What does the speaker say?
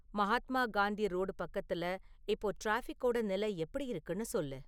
Mahatma Gandhi road பக்கத்துல இப்போ டிராஃபிக்கோட நிலை எப்படி இருக்குன்னு சொல்லு